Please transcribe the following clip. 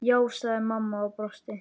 Já, sagði mamma og brosti.